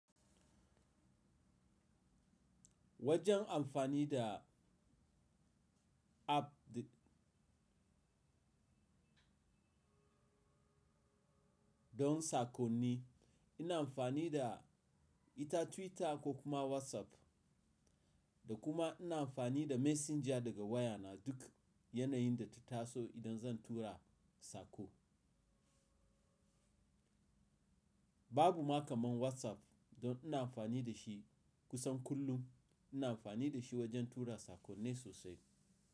Wajen amfani da app don sakonni, ina amfani da ita Twitter ko kuma WhatsApp, da kuma ina amfani da messenger daga wayana duk yanayin da ta taso idan zan tura sako. Babu ma kamar WhatsApp don ina amfani da shi kusan kullum. Ina amfani da shi wajen tura sakonni sosai.